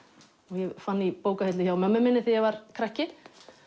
ég fann í bókahillu hjá mömmu þegar ég var krakki